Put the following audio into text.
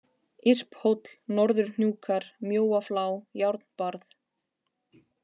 Irphóll, Norðurhnjúkar, Mjóaflá, Járnbarð